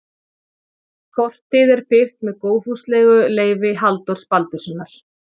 Kortið er birt með góðfúslegu leyfi Halldórs Baldurssonar.